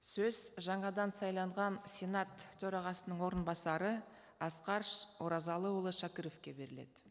сөз жаңадан сайланған сенат төрағасының орынбасары асқар оразалыұлы шәкіровке беріледі